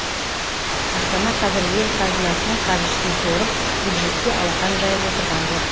астана қазір ел қазынасының қаржысын сорып бюджетке алақан жайып отырған жоқ